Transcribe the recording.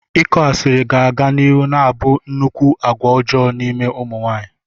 Ịkọ asịrị ga-aga n'ihu na-abụ nnukwu agwa ọjọọ n'ime ụmụ nwaanyị.